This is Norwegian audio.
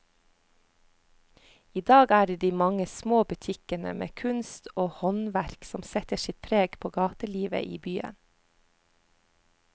I dag er det de mange små butikkene med kunst og håndverk som setter sitt preg på gatelivet i byen.